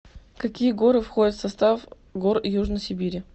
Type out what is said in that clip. какие горы входят в состав гор южной сибири